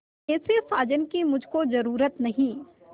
ऐसे साजन की मुझको जरूरत नहीं